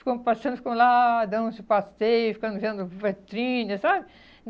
Ficamos passeando, ficamos lá dando uns passeios, ficamos vendo vitrines, sabe?